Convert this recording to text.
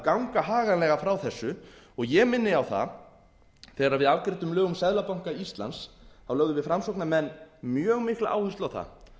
ganga haganlega frá þessu og ég minni á það að þegar við afgreiddum lög um seðlabanka íslands þá lögðum við framsóknarmenn mjög mikla áherslu á það að